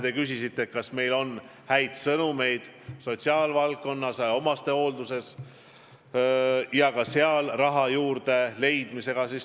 Te küsisite, kas meil on häid sõnumeid sotsiaalvaldkonnas, omastehoolduses, kas seal on raha juurde leitud.